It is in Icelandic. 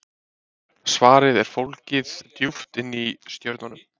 svarið er fólgið djúpt inni í stjörnunum